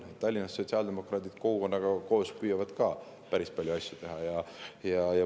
Tallinnas püüavad sotsiaaldemokraadid kogukonnaga koos ka päris palju asju teha.